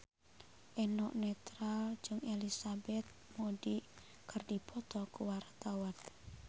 Eno Netral jeung Elizabeth Moody keur dipoto ku wartawan